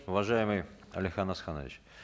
уважаемый алихан асханович